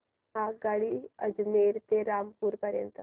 आगगाडी अजमेर ते रामपूर पर्यंत